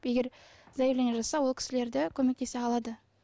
егер заяление жазса ол кісілер де көмектесе алады